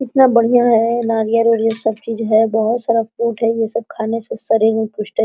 इतना बढ़ियां है नारियल-उरियाल सब चीज़ हैबहुत सारा फ्रूट है | ये सब खाने से शरीर में पुस्टी --